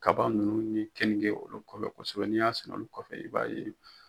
kaba ninnu ni kenike olu kɔnɔ sɛbɛ n'i ya sɛnɛ o kɔfɛ i b'a ye